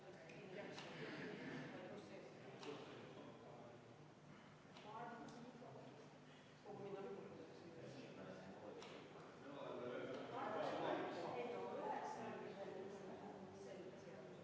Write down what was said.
Head kolleegid, suurima heameelega panen hääletusele 18. muudatusettepaneku, mille on esitanud Eesti Konservatiivse Rahvaerakonna fraktsioon ja juhtivkomisjon jätnud arvestamata.